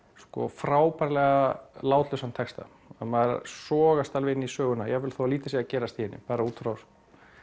frábærlega látlausan texta maður sogast alveg inn í söguna jafnvel þó lítið sé að gerast í henni bara út frá